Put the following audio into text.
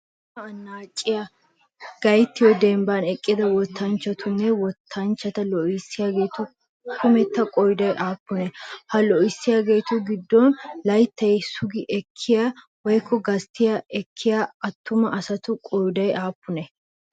Wottaa annaaciyaa gayttiyo dembban eqqida wottanchchatunne wottanchchata loohissiyaageetu kumetta qooday aappunee? Ha loohissiyaageetu giddon layttaa sugi ekkiyaa woykko gastti ekkiyaa attuma asatu qooday aappunee?